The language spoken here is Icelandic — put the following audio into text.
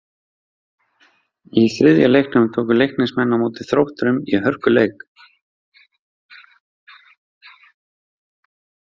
Í þriðja leiknum tóku Leiknismenn á móti Þrótturum í hörkuleik.